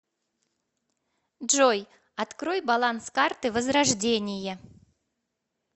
джой открой баланс карты возрождение